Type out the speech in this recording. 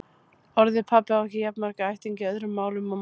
Orðið pabbi á ekki jafn marga ættingja í öðrum málum og mamma.